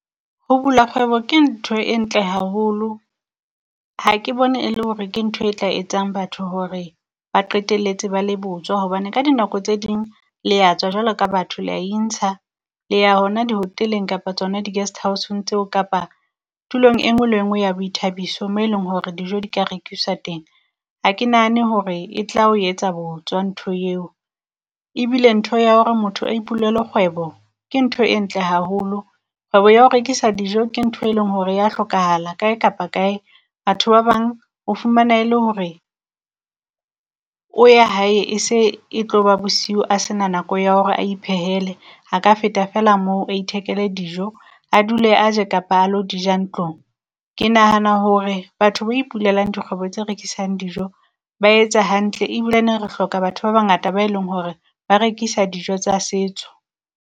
Ho bula kgwebo ke ntho e ntle haholo. Ha ke bone e le hore ke nthoe tla etsang batho hore ba qetelletse ba le botswa, hobane ka dinako tse ding le ya tswa jwalo ka batho le ya intsha le ya hona dihoteleng kapa tsona di-guesthouse-ong tseo kapa tulong e nngwe le e nngwe ya boithabiso mo e leng hore dijo di ka rekisa teng. A ke nahane hore e tla o etsa, botswa ntho eo. Ebile ntho ya hore motho a ipulele kgwebo ke ntho e ntle haholo. Kgwebo ya ho rekisa dijo ke ntho e leng hore ya hlokahala kae kapa kae. Batho ba bang o fumana e le hore o ya hae e se e tloba bosiu a sena nako ya hore a ipehele, a ka feta fela moo a ithekele dijo a dule a je kapa a lo di ja ntlong. Ke nahana hore batho ipulelang dikgwebo tse rekisang dijo ba etsa hantle ebilene re hloka batho ba bangata ba e leng hore ba rekisa dijo tsa setso.